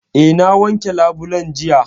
Eh, na wanke labulen jiya